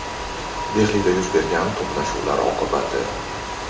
Dehlida yuz bergan to‘qnashuvlar oqibati.